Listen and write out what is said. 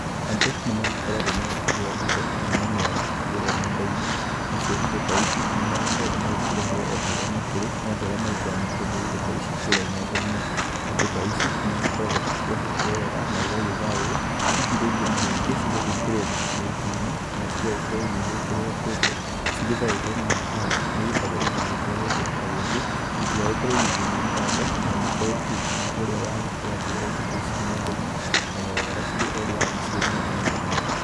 Andũ nĩmagĩkoragwo magĩkĩgũra indo mwanya mwanya kũrĩa ndendainĩ nacio indo ta ici nĩmagĩkoragwo magĩkĩreherwo oharĩa makĩrĩ nĩ andũ arĩa magĩkoragwa makĩendia indo ta ici kũrĩa ngendainĩ ,indo ta ici nĩigĩkoragwo ciohetwo weega naigagĩthayo, hihi rĩngĩ na rĩngĩ cigagĩgĩkĩrwa makirĩtinĩ kana cigagĩkorwo cigĩgekĩrwa kũndũ ciohetwe weega na maratathi nĩgetha rĩrĩa igũtwaro kũndũ ta gũkũ itigagĩkorwe igĩthũkanga na igĩkorwo igĩkinyĩra ũrĩa agĩkoro akĩgũra indo ta ici nendainĩ oro weega cirĩo ũrĩa acionire nendainĩ.